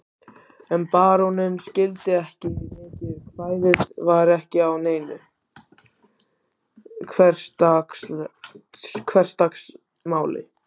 En baróninn skildi ekki mikið, kvæðið var ekki á neinu hversdagsmáli.